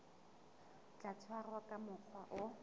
tla tshwarwa ka mokgwa o